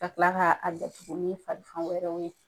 Ka kila ka datugu ni fari fan wɛrɛw ye.